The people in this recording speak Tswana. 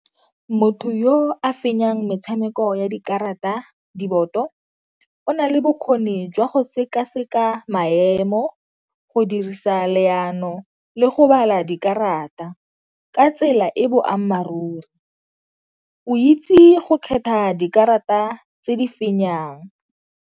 Motho yo a fenyang metshameko ya dikarata, diboto o nale bokgoni jwa go sekaseka maemo, go dirisa leano le go bala dikarata ka tsela e boammaaruri. O itse go kgetha dikarata tse di fenyang.